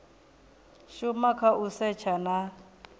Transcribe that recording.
shuma kha u setsha na